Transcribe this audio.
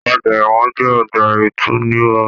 Ọgbà ẹwọn jẹ ọgbà itunirọ̀.